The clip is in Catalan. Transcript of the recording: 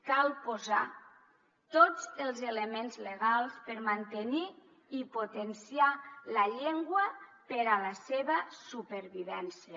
cal posar tots els elements legals per mantenir i potenciar la llengua per a la seva supervivència